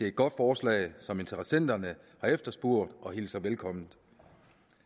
et godt forslag som interessenterne har efterspurgt og hilser velkommen